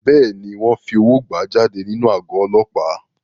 Bẹ́ẹ̀ni, wọ́n fi owó gbà á jáde nínú àgọ́ Ọlọ́pàá.